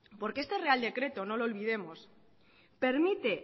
porque este real decreto no lo olvidemos permite